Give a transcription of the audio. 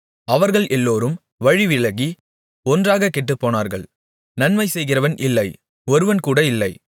அவர்கள் எல்லோரும் வழிவிலகி ஒன்றாகக் கெட்டுப்போனார்கள் நன்மைசெய்கிறவன் இல்லை ஒருவன்கூட இல்லை